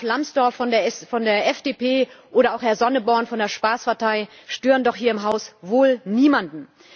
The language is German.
Graf Lambsdorff von der FDP oder auch Herr Sonneborn von der Spaßpartei stören doch hier im Haus wohl niemanden.